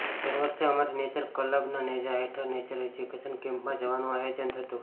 દર વર્ષે અમારી નેચર ક્લબના નેજા હેઠળ નેચર એડ્યુકેશન કેમ્પમાં જવાનું આયોજન થતું